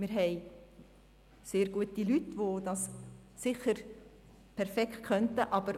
Wir haben sehr gute Leute, die das sicher perfekt könnten, wie zum Beispiel Hannes Zaugg-Graf.